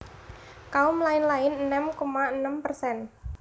Kaum lain lain enem koma enem persen